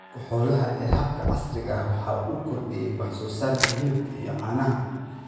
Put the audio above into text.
Horumarka xooluhu ee habka casriga ah waxa uu kordhiyey wax soo saarka hilibka iyo caanaha.